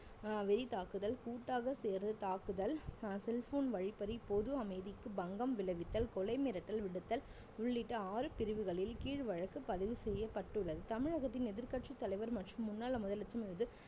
அஹ் வெறி தாக்குதல் கூட்டாக சேர்ந்து தாக்குதல் அஹ் cell phone வழிப்பறி பொது அமைதிக்கு பங்கம் விளைவித்தல் கொலை மிரட்டல் விடுத்தல் உள்ளிட்ட ஆறு பிரிவுகளில் கீழ் வழக்கு பதிவு செய்யப்பட்டுள்ளது தமிழகத்தின் எதிர்கட்சித் தலைவர் மற்றும் முன்னாள் முதலமைச்சர் மீது